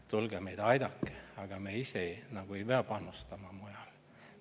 Tulge aidake meid," aga me ise nagu ei pea panustama mujal.